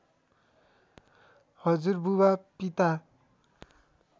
हजुरबुबा पिता